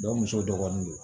muso dɔgɔnin don